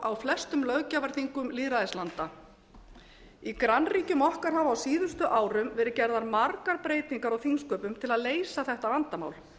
á flestum löggjafarþingum lýðræðislanda í grannríkjum okkar hafa á síðustu árum varið eða margar breytingar á þingsköpum til að leysa þetta vandamál